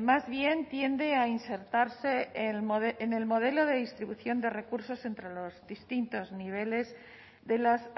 más bien tiende a insertarse en el modelo de distribución de recursos entre los distintos niveles de las